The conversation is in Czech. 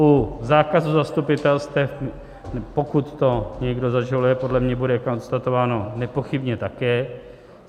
U zákazu zastupitelstev, pokud to někdo zažaluje, podle mě bude konstatováno nepochybně také.